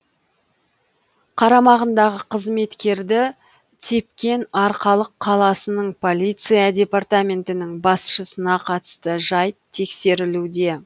қарамағындағы қызметкерді тепкен арқалық қаласының полиция департаментінің басшысына қатысты жайт тексерілуде